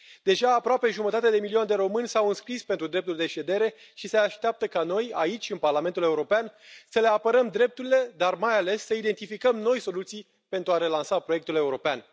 Deja aproape jumătate de milion de români s au înscris pentru dreptul de ședere și se așteaptă ca noi, aici, în Parlamentul European, să le apărăm drepturile, dar mai ales să identificăm noi soluții pentru a relansa proiectul european.